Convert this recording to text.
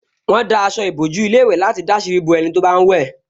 Wọ́n dá aṣọ ìbòjú ilé ìwẹ̀ láti dàsírí bo ẹni tó bá ń wẹ̀